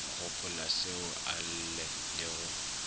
gopolaseo a lle le go